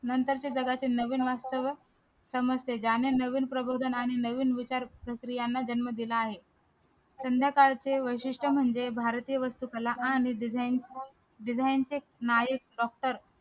नंतर ते जगातील नवीन वास्तव्य नवीन विचार प्रक्रियांना जन्म दिला आहे संध्याकाळचे वैशिष्ट्य म्हणजे भारतीय वस्तू कला आणि design design चे